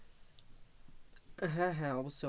হ্যাঁ, হ্যাঁ অবশ্যই,